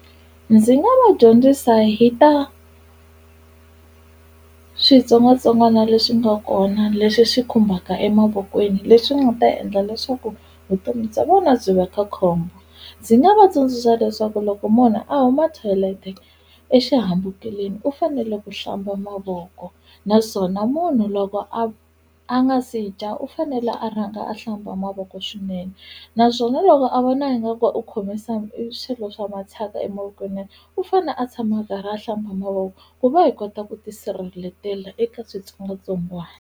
Ndzi nga va dyondzisa hi ta switsongwatsongwana leswi nga kona leswi swi khumbaka emavokweni leswi nga ta endla leswaku vutomi bya vona byi va ka khombo ndzi nga va tsundzuxa leswaku loko munhu a huma toilet-e exihambukeleni u fanele ku hlamba mavoko naswona munhu loko a a nga se dya u fanele a rhanga a hlamba mavoko swinene naswona loko a vona ingaku u khome swilo swa mathyaka emavokweni u fane a tshama a karhi a hlamba mavoko ku va hi kota ku tisirheletela eka switsongwatsongwani.